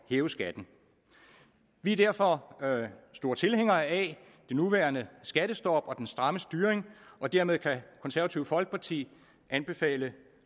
hæve skatten vi er derfor store tilhængere af det nuværende skattestop og den stramme styring og dermed kan det konservative folkeparti anbefale